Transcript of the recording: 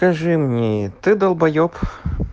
скажи мне ты долбаеб